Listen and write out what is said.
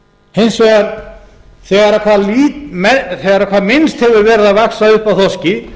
hins vegar þegar hvað minnst hefur verið að vaxa upp af þorski